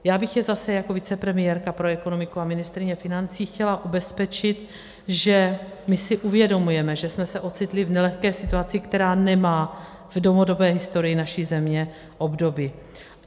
Já bych je zase jako vicepremiérka pro ekonomiku a ministryně financí chtěla ubezpečit, že my si uvědomujeme, že jsme se ocitli v nelehké situaci, která nemá v dlouhodobé historii naší země obdoby.